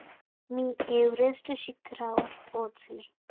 मी Everest शिखरावर पोहचले